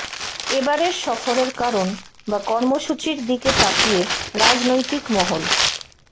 এবারের সফরের কারণ বা কর্মসূচির দিকে তাকিয়ে রাজনৈতিক মহল